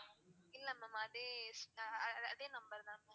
இல்ல ma'am அதே ஸ் அதே number தான் ma'am.